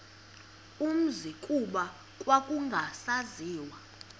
umzi kuba kwakungasaziwa